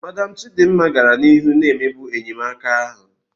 Madam Chidima gara n'ihu na-emegbu enyemaka ahụ